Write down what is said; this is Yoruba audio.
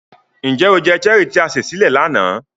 Njẹ o jẹ Cherie ti a se sile lana?